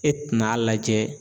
E tɛna lajɛ